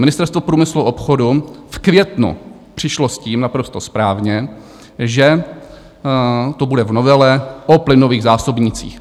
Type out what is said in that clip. Ministerstvo průmyslu a obchodu v květnu přišlo s tím, naprosto správně, že to bude v novele o plynových zásobnících.